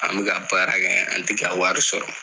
An bɛ ka baara kɛ an tɛ wari sɔrɔ.